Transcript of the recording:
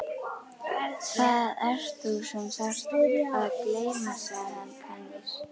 Það ert þú sem þarft að gleyma sagði hann kankvís.